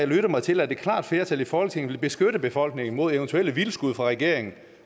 lyttet mig til at et klart flertal i folketinget vil beskytte befolkningen mod eventuelle vildskud fra regeringens